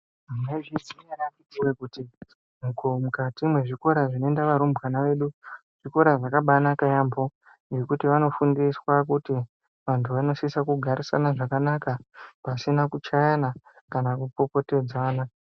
Mwaizviziya ere akhiti woye kuti mukati mezvikora zvinoenda varumbwana vedu zvikora zvakabaanaka yaamho, ngekuti vanofundiswa kuti vanthu vanosisa kugarisana zvakanaka pasina kuchayana kana kupopotedzana.